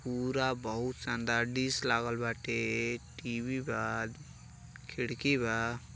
पूरा बहुत शानदार डिश लगल बाटे टी.वी. बा खिड़की बा।